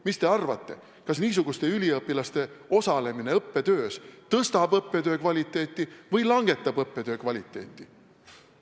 Mis te arvate, kas niisuguste üliõpilaste osalemine õppetöös tõstab õppetöö kvaliteeti või langetab õppetöö kvaliteeti?